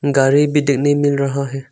गाड़ी भी तो नहीं मिल रहा है।